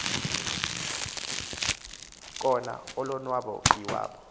kona ulonwabo iwabo